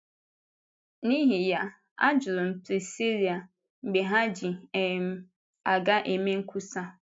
N’ihi ya, ajụrụ m Priscilla mgbe ha jì um aga eme nkwusa.